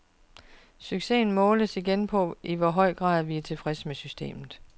Succesen måles igen på, i hvor høj grad vi er tilfredse med systemet.